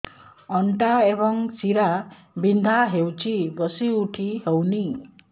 ଅଣ୍ଟା ଏବଂ ଶୀରା ବିନ୍ଧା ହେଉଛି ବସି ଉଠି ହଉନି